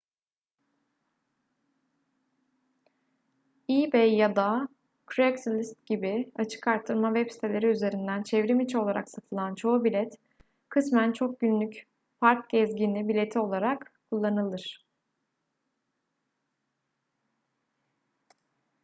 ebay ya da craigslist gibi açık arttırma web siteleri üzerinden çevrimiçi olarak satılan çoğu bilet kısmen çok günlük park gezgini bileti olarak kullanılır